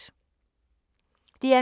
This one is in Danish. DR K